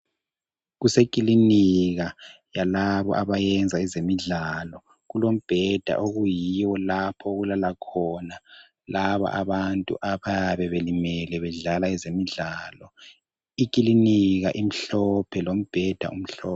Kusekilinika yalabo abayenza ezemidlalo kulombheda okuyiyo lapho okulala khona labo abantu abayabe belimele bedlala ezemidlalo, ikilinika imhlophe lombheda umhlophe.